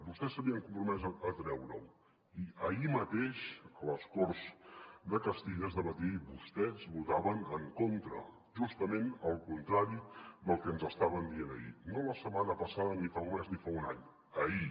vostès s’havien compromès a treure ho i ahir mateix a les corts de castilla es debatia i vostès hi votaven en contra justament el contrari del que ens estaven dient ahir no la setmana passada ni fa un mes ni fa un any ahir